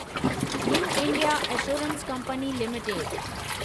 new India assurance company limited